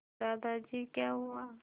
दादाजी क्या हुआ